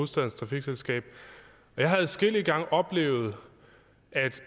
trafikselskab og jeg har adskillige gange oplevet at